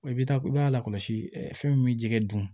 I bɛ taa i b'a lakɔlɔsi ɛ fɛn min jɛgɛ dun